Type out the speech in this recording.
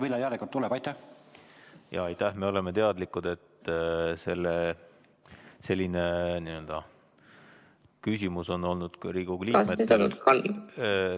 Me oleme teadlikud, selline küsimus on olnud ka teistel Riigikogu liikmetel ...